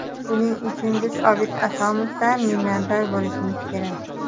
Buning uchun biz Obid Asomovdan minnatdor bo‘lishimiz kerak.